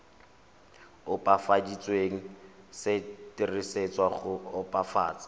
opafaditsweng se dirisetswa go opafatsa